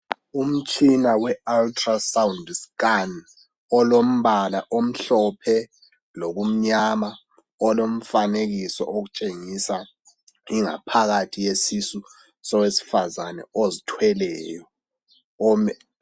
Umtshina we ultra sound scan olombala omhlophe lokumnyama olomfanekiso otshengisa ingaphakathi yesisu sowesifazane ozithweleyo.